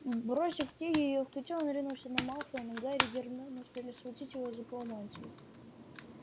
бросив книги в её котёл он ринулся на малфоя но гарри и гермиона успели схватить его за полы мантии